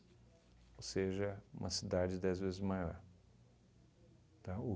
Ou seja, uma cidade dez vezes maior, tá?